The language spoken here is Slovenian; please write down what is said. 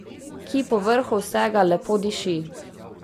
Ki povrhu vsega lepo diši.